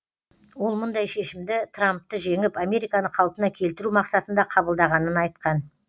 ол мұндай шешімді трампты жеңіп американы қалпына келтіру мақсатында қабылдағанын айтқан